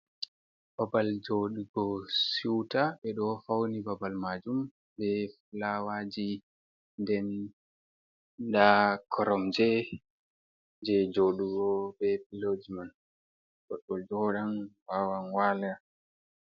Babal jooɗugo suuta ɓeɗo fauni babal maajum be fulawajii. Nden nda Koromje je jooɗugo be Piloojiman bobɓolbo wawan wala.